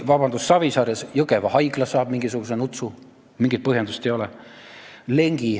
Savisaare Jõgeva haigla saab mingisuguse nutsu, kuigi mingit põhjendust ei ole.